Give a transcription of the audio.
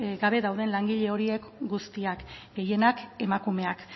gabe dauden langile horiek guztiak gehienak emakumeak